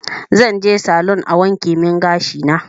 Zanje salun a wankemin gashina